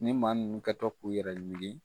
Ni maa ninnu kɛtɔ k'u yɛrɛ wuli.